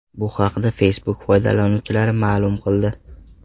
Bu haqda Facebook foydalanuvchilari ma’lum qildi .